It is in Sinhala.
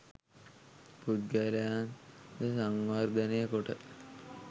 පුද්ගලයන් ද සංවර්ධනය කොට